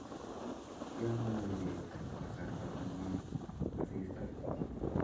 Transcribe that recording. Ya mami peek ko kasarta ne ngwan asista